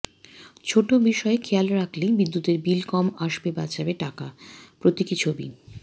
ছোট বিষয় খেয়াল রাখলেই বিদ্যুতের বিল কম আসবে বাঁচবে টাকা প্রতীকী ছবি